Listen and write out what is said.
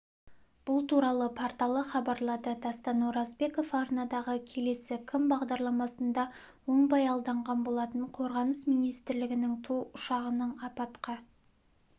бұл туралы порталы хабарлады дастан оразбеков арнадағы келесі кім бағдарламасында оңбайалданған болатын қорғаныс министрлігінің ту ұшағының апатқа